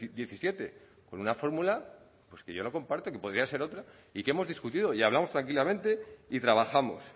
diecisiete con una fórmula pues que yo no comparto y que podría ser otra y que hemos discutido y hablamos tranquilamente y trabajamos